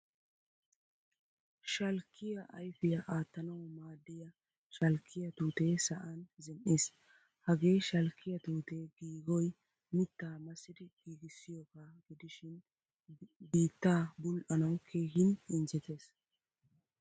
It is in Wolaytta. Shalkkiyaa ayfiyaa attanawu maadiyaa shalkkiyaa tuute sa'aan zin'iis. Hagee shalkkiyaa tuute giigoy mitta massidi giigisiyoga gidishin biittaa bul'anawu keehin injjettees.